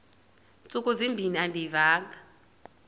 ntsuku zimbin andiyivanga